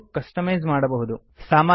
ಈಗ ಇವೆಲ್ಲಾ ಹೇಗೆ ಆಗುತ್ತವೆ ಎಂಬುದನ್ನು ತಿಳಿಯೋಣ